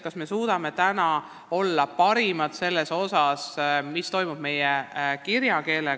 Kas me suudame olla parimad analüüsijad, mis toimub meie kirjakeelega?